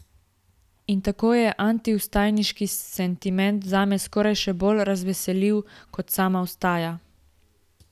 In tako je antivstajniški sentiment zame skoraj še bolj razveseljiv kot sama vstaja.